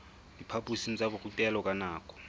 diphaphosing tsa borutelo ka nako